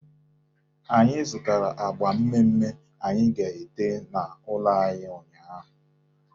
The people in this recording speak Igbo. Anyị zụtara agba mme mme anyị ga-ete n'ụlọ anyị ụnyaahụ.